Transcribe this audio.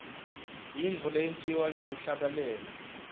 yintfo leyentiwa ngekuhlabelela